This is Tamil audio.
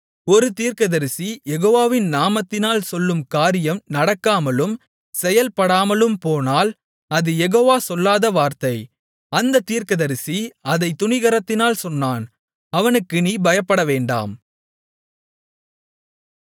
ஒரு தீர்க்கதரிசி யெகோவாவின் நாமத்தினால் சொல்லும் காரியம் நடக்காமலும் செயல்படாமலும் போனால் அது யெகோவா சொல்லாத வார்த்தை அந்தத் தீர்க்கதரிசி அதைத் துணிகரத்தினால் சொன்னான் அவனுக்கு நீ பயப்படவேண்டாம்